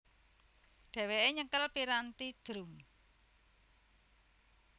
Dhewéke nyekel piranthi drum